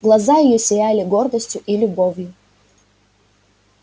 глаза её сияли гордостью и любовью